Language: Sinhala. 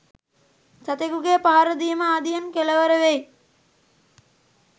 සතෙකුගේ පහර දීම ආදියෙන් කෙළවර වෙයි.